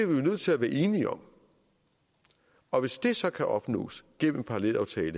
nødt til at være enige om og hvis det så kan opnås gennem en parallelaftale